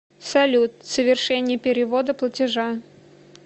салют совершение перевода платежа